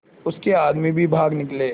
उसके आदमी भी भाग निकले